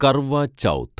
Karwa Chauth